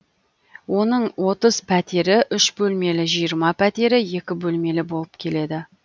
оның отыз пәтері үш бөлмелі жиырма пәтері екі бөлмелі болып келеді